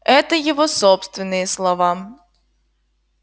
это его собственные слова